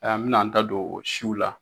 Ɛ an bɛna an ta don o siw la.